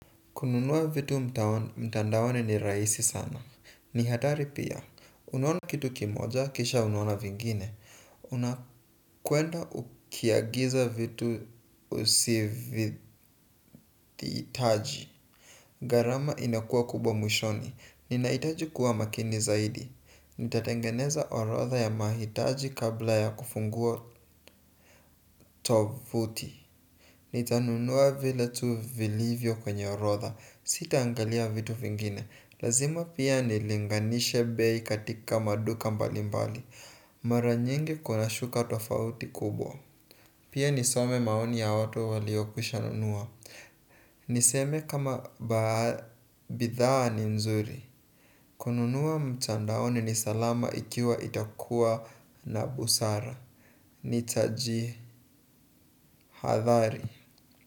Kununua vitu mtandaoni raisi sana. Ni hatari pia. Unaona kitu kimoja kisha unaona kingine. Unakwenda ukiagiza vitu usivitaji. Garama inakuwa kubwa mwishoni. Inahitaji kuwa makini zaidi. Nitatengeneza orotha ya mahitaji kabla ya kufungua tovuti. Nitanunua vile tu vilivyo kwenye orotha. Sita angalia vitu vingine. Lazima pia nilinganishe bei katika maduka mbalimbali. Mara nyingi kuna shuka tofauti kubwa. Pia nisome maoni ya watu waliokwishanunua. Niseme kama bithaa ni nzuri. Kununua mtandaoni ni salama ikiwa itakuwa na busara nitajihadhari.